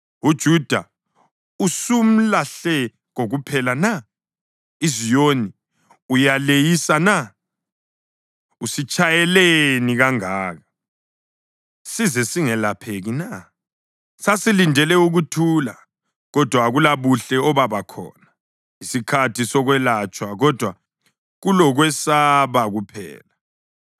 UJuda usumlahle kokuphela na? IZiyoni uyaleyisa na? Usitshayeleni kangaka size singelapheki na? Sasilindele ukuthula kodwa akulabuhle obaba khona, isikhathi sokwelatshwa kodwa kulokwesaba kuphela.